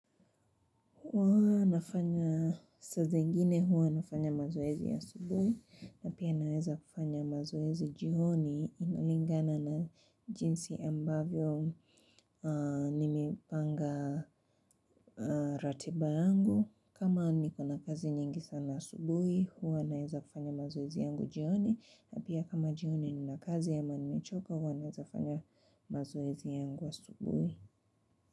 Huwa nafanya saa zingine huwa nafanya mazoezi ya asubuhi, na pia naweza kufanya mazoezi jioni kulingana na jinsi ambavyo nimepanga ratiba yangu. Kama niko na kazi nyingi sana asubuhi, huwa nawezafanya mazoezi yangu jioni, na pia kama jioni nina kazi ama nimechoka huwa nawezafanya mazoezi yangu asubuhi.